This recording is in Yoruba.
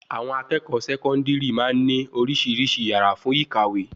Àwọn akẹ́kọ̀ọ́ sekondiri máa ń ní oríṣiríṣi yàrá fún ìkàwé